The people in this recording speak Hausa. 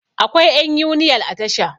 akwai yan uniyal a Tasha